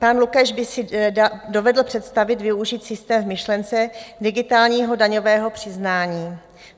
Pan Lukeš by si dovedl představit využít systém v myšlence digitálního daňového přiznání.